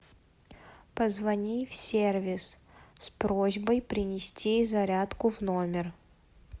позвони в сервис с просьбой принести зарядку в номер